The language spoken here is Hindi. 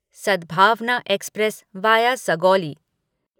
Sadbhavna express via Sugauli